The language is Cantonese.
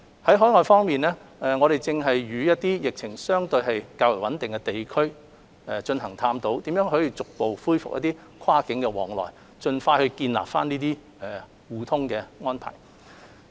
在海外方面，我們正與一些疫情相對較為穩定的地區探討如何逐步恢復跨境往來，盡快建立這些互通的安排。